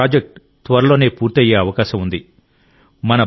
ఈ ప్రాజెక్ట్ త్వరలోనే పూర్తయ్యే అవకాశం ఉంది